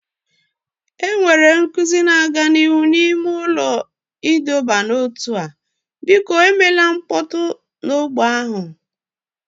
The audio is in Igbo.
Enwere nkuzi na-aga n'ihu n'ime ụlọ ịdọba n'ótú a, biko emela mkpọtụ na ogbè ahụ